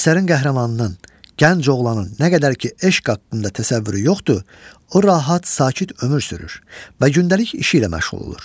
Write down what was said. Əsərin qəhrəmanının, gənc oğlanın nə qədər ki eşq haqqında təsəvvürü yoxdur, o rahat, sakit ömür sürür və gündəlik işi ilə məşğul olur.